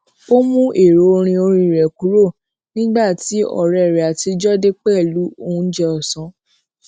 ó mú èrọ orin orí rè kúrò nígbà tí òré rè àtijó dé pèlú oúnjẹ òsán